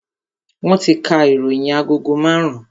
Wọn ti ka ìròyìn agogo marun-un